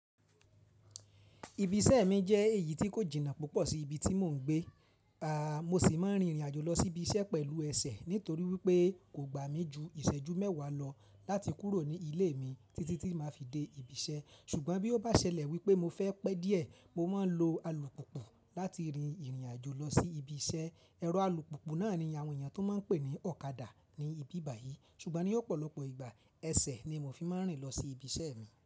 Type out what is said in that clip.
Ibi iṣẹ́ mi jẹ́ èyí tí kò jìnnà púpọ̀ sí ibi tí mò ń gbé. Mo sì máa ń rìnrìn àjò lọ sí ibi iṣẹ́ pẹ̀lú ẹsẹ̀ nítorí wípé kò gbà mí ju ìṣẹ́jú mẹ́wàá lọ láti kúrò ní ilé mi títí tí màá fi dé ibi iṣẹ́. Ṣùgbọ́n bí ó bá ṣẹlẹ̀ wípé mo fẹ́ pẹ́ díẹ̀, mo máa ń lo alùpùpù láti rìnrìn àjò lọ sí ibi iṣẹ́. Ẹ̀rọ alùpùpù náà ni àwọn èèyàn tó máa ń pè ní ọ̀kadà ní ibi báyìí. Ṣùgbọ́n ní ọ̀pọ̀lọpọ̀ ìgbà, ẹsẹ̀ ni mo fi máa ń rìn lọ sí ibi iṣẹ́ mi.